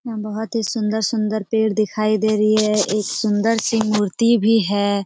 बहुत ही सुंदर- सुंदर पेड़ दिखाई दे रही है एक सुंदर सी मूर्ति भी है।